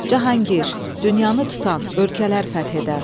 Cahangir, dünyanı tutan, ölkələr fəth edən.